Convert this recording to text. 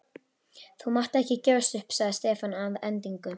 Þú mátt ekki gefast upp sagði Stefán að endingu.